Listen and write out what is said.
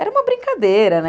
Era uma brincadeira, né?